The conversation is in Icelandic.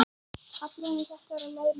Kaflinn um þetta er á þessa leið: